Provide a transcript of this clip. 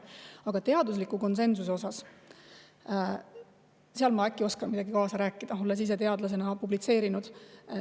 Aga teadusliku konsensuse osas ma äkki oskan midagi kaasa rääkida, olles ise teadlasena publitseerinud.